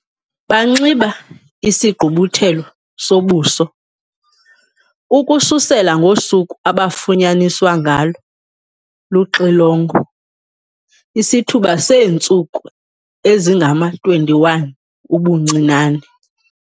Banxiba isigqubuthelo sobuso, ukususela ngosuku abafunyaniswa ngalo luxilongo isithuba seentsuku ezingama-21 ubuncinane.